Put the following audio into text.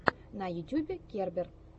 на ютюбе кербер